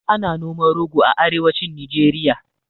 Ana noman rogo a arewacin nijeriya